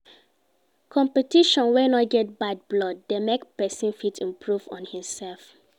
Competition wey no get bad blood de make persin fit improve on im self